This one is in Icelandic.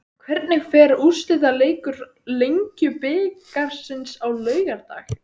Hvernig fer úrslitaleikur Lengjubikarsins á laugardag?